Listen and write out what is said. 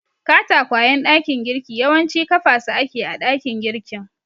Katakwayen dakin girki yawanci kafa su ake a dakin girkin.